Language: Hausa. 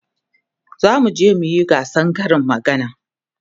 zamu je muyi gasan Karin magana